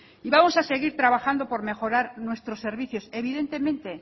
y vamos a seguir trabajando por mejorar nuestros servicios evidentemente